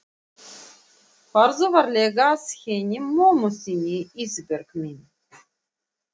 Farðu varlega að henni mömmu þinni Ísbjörg mín.